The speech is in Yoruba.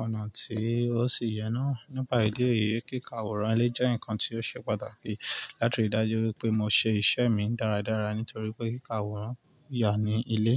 ọ̀nà tí ó sì yẹ náà. Nípa ìdí èyí, kíka àwòrán ilé jẹ́ ǹkan tí ó ṣe pàtàkì láti rí dájú wipé mo ṣe ìṣe mi dáradára nítorí pé kíka àwòrán yà ní ilé.